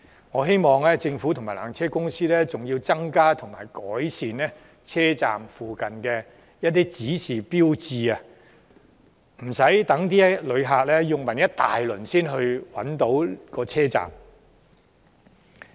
我更希望政府及纜車公司會增加及改善車站附近的指示標誌，讓旅客不必到處詢問，也能找到車站。